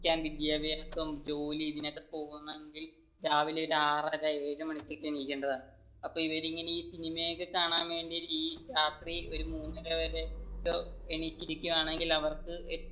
പഠിക്കാൻ വിദ്യഭ്യാസം ജോലി ഇതിനൊക്കെ പോകണമെങ്കിൽ രാവിലെ ഒരു ആറര ഏഴു മണിക്കൊക്കെ എണ്ണിക്കേണ്ടതാണ് ഇവർ ഇങ്ങനെ സിനിമയൊക്കെ കാണാൻ വേണ്ടിയിട്ട് രാത്രി ഒരു മൂന്നര വരെയൊക്കെ എണീറ്റിരിക്കുവാണെങ്കിൽ അവർക്ക്